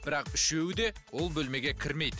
бірақ үшеуі де ол бөлмеге кірмейді